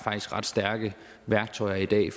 ret stærke værktøjer i dag